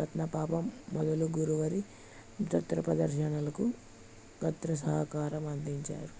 రత్నపాప మొదలగువారి నృత్యప్రదర్శనలకు గాత్రసహకారం అందించారు